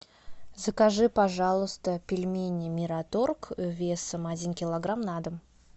закажи пожалуйста пельмени мираторг весом один килограмм на дом